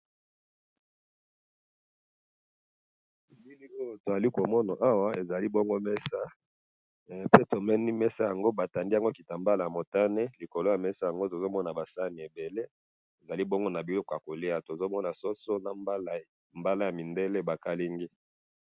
To moni mesa ba tandi elamba ya motane na ba sani mitano eza na biloko na kati ba mbala ya mindele na ba soso.